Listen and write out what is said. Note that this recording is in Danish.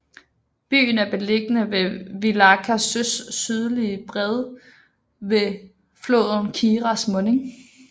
Byen er beliggende ved Viļaka søs sydlige bred ved floden Kiras munding